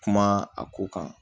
Kuma a ko kan